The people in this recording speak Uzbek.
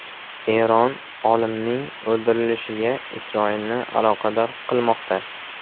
Eron olimning o‘ldirilishiga Isroilni aloqador qilmoqda.